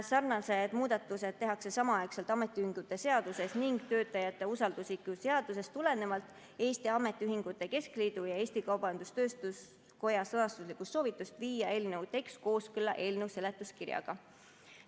Sarnased muudatused tehakse samaaegselt ametiühingute seaduses ning töötajate usaldusisiku seaduses tulenevalt Eesti Ametiühingute Keskliidu ja Eesti Kaubandus-Tööstuskoja sõnastuslikust soovitusest viia eelnõu tekst kooskõlla eelnõu seletuskirjaga.